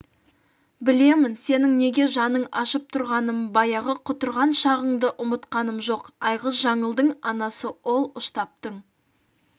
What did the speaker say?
білемін сенің неге жаның ашып тұрғанын баяғы құтырған шағыңды ұмытқаным жоқ айғыз жаңылдың анасы ол ұштаптың